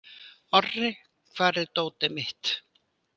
Orri, hvar er dótið mitt?